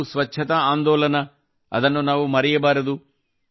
ಅವು ಸ್ವಚ್ಛತಾ ಆಂದೋಲನ ವನ್ನು ನಾವು ಮರೆಯಬಾರದು